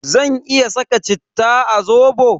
Zan iya saka citta a zobo?